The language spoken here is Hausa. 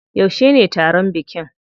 Yaushe ne taron bikin?